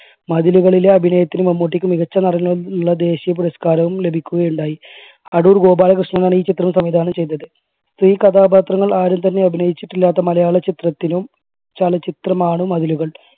മതിലുകളിലെ അഭിനയത്തിന് മമ്മൂട്ടിക്ക് മികച്ച നടനുള്ള ദേശീയ പുരസ്കാരവും ലഭിക്കുകയുണ്ടായി. അടൂർ ഗോപാലകൃഷ്ണനാണ് ഈ ചിത്രം സംവിധാനം ചെയ്തത്. ഈ കഥാപാത്രങ്ങൾ ആരും തന്നെ അഭിനയിച്ചിട്ടില്ലാത്ത മലയാള ചിത്രത്തിനു ചലചിത്രമാണ് മതിലുകൾ.